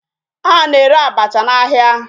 A na-ere abacha ahịa.